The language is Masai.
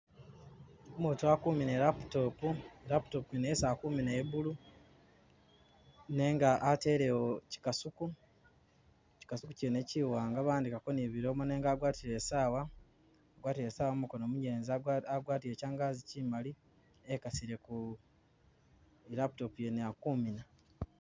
Umutu ali kumina i'laptop, laptop wene yesi ali kumina ya blue, nenga atelewo chikasuku, chikasuku chene chiwaanga bawandika ko ni bilomo nenga wagwatile i'saawa, wagwatile i'saawa mumukoono munyelezi agwatile changazi chimali e'kasile ku.. i'laptop yene ali kumina